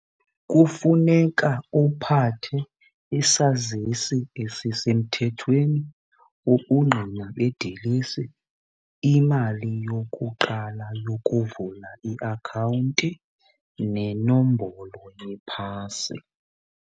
Kufuneka uphathe isazisi esisemthethweni, ubungqina bedilesi, imali yokuqala yokuvula iakhawunti nenombolo yephasi.